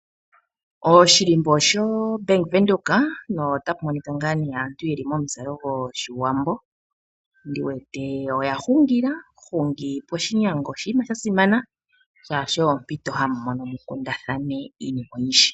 Oshihako shoBank Windhoek nota pu monika ngaa aantu ye li momuzalo gOshiwambo, ndi wete oya hungila. Ohungi poshinyanga oshinima sha simana, oshoka oyo ompito hamu mono mu kundathane iinima oyindji.